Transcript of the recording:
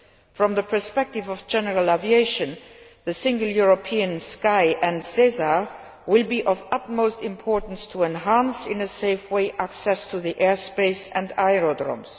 From the perspective of general aviation, the Single European Sky and SESAR will be of the utmost importance for enhancing, in a safe way, access to airspace and aerodromes.